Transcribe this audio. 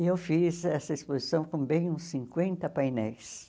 E eu fiz essa exposição com bem uns cinquenta painéis.